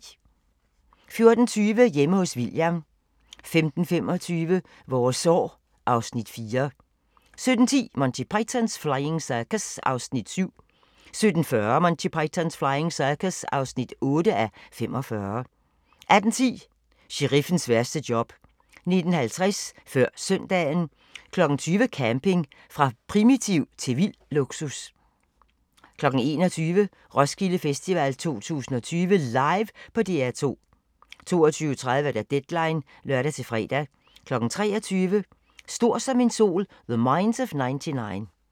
14:20: Hjemme hos William 15:25: Vores år (Afs. 4) 17:10: Monty Python's Flying Circus (7:45) 17:40: Monty Python's Flying Circus (8:45) 18:10: Sheriffens værste job 19:50: Før Søndagen 20:00: Camping – fra primitivt til vild luksus 21:00: Roskilde Festival 2020 LIVE på DR2 22:30: Deadline (lør-fre) 23:00: Stor som en sol – The Minds of 99